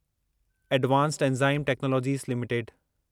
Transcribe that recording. advanced enzyme technologies limited